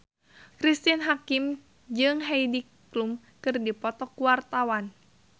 Cristine Hakim jeung Heidi Klum keur dipoto ku wartawan